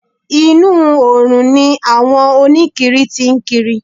Inú oòrùn ni àwọn oníkiri tí ń kiri.